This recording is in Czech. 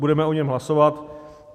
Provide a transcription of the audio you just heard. Budeme o něm hlasovat.